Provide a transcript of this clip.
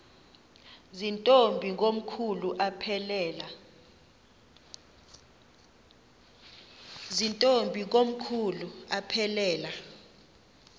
zirntombi komkhulu aphelela